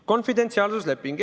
Konfidentsiaalsusleping ...